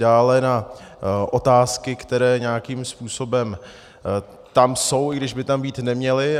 Dále na otázky, které nějakým způsobem tam jsou, i když by tam být neměly.